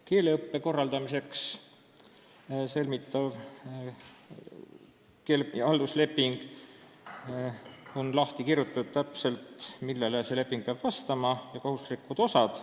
Keeleõppe korraldamiseks sõlmitavas halduslepingus on täpselt lahti kirjutatud, mis nõuetele see leping peab vastama, millised on selle kohustuslikud osad.